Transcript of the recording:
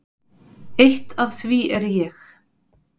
Eitt af því er ég.